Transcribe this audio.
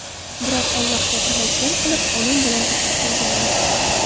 Biroq Allohga tavakkal qilib, onam bilan uchib kelganmiz.